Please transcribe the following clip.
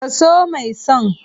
Ka so mai son.